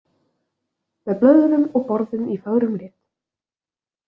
Með blöðrum og borðum í fögrum lit.